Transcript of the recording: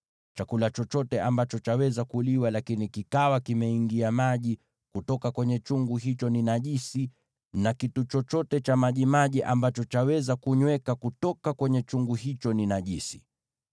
Chakula chochote ambacho chaweza kuliwa lakini kikawa kimeingia maji kutoka kwenye chungu hicho ni najisi, na kitu chochote cha majimaji ambacho chaweza kunyweka kutoka kwenye chungu hicho ni najisi.